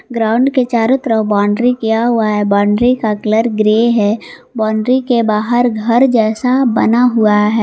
Ground के चारों तरफ बाउंड्री किया हुआ है बाउंड्री का कलर ग्रे है बाउंड्री के बाहर घर जैसा बना हुआ है।